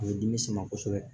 A bɛ dimi sama kosɛbɛ